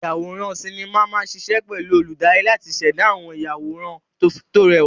Ayàwòrán sinimá máa ṣiṣẹ́ pẹ̀lú olùdarí láti ṣẹ̀dá àwọn ìyàwòrán tó rẹwà.